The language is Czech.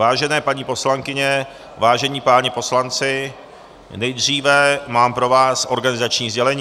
Vážené paní poslankyně, vážení páni poslanci, nejdříve mám pro vás organizační sdělení: